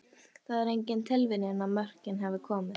Það er engin tilviljun að mörkin hafa komið.